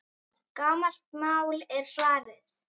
Gamalt mál, er svarið.